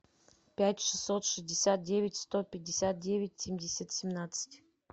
пять шестьсот шестьдесят девять сто пятьдесят девять семьдесят семнадцать